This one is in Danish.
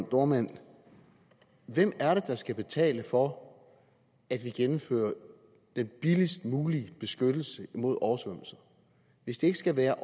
dohrmann hvem er det der skal betale for at vi gennemfører den billigst mulige beskyttelse imod oversvømmelser hvis det ikke skal være